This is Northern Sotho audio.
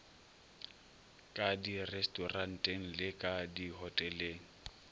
ka direstoranteng le ka dihoteleng